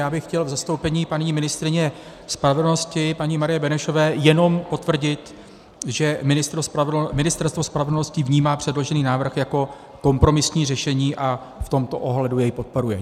Já bych chtěl v zastoupení paní ministryně spravedlnosti paní Marie Benešové jenom potvrdit, že Ministerstvo spravedlnosti vnímá předložený návrh jako kompromisní řešení a v tomto ohledu jej podporuje.